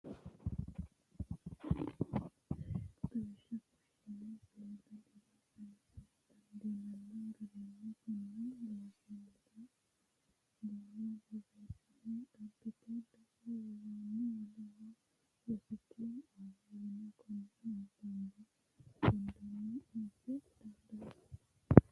Xawishsha fushinanni seeda diro sayisa dandiinanni garati kuni loosamire baalla borreessine dhagete gede woroni woleho rosicho aara yine kone nabbanbe gunde afa danchate.